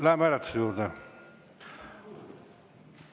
Läheme hääletuse juurde.